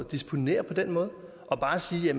disponere på den måde og bare sige at